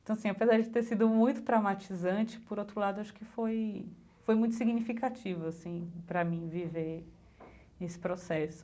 Então assim apesar de ter sido muito traumatizante, por outro lado acho que foi foi muito significativo assim para mim viver esse processo.